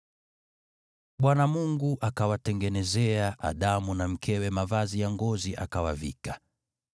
Bwana Mungu akawatengenezea Adamu na mkewe mavazi ya ngozi, akawavika.